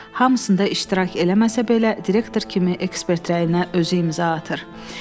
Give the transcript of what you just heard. Hamısında iştirak eləməsə belə direktor kimi ekspert rəyinə özü imza atır.